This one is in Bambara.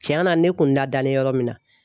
Tiɲa na ne kun nadalen yɔrɔ min na